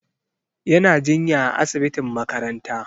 Yana jinya a asibitin makaranta.